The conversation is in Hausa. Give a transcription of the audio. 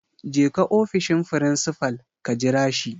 Jeka ofishin frincifal. ka jira shi